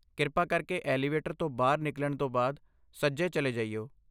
ਕਿਰਪਾ ਕਰਕੇ ਐਲੀਵੇਟਰ ਤੋਂ ਬਾਹਰ ਨਿਕਲਣ ਤੋਂ ਬਾਅਦ ਸੱਜੇ ਚਲੇ ਜਾਇਓ।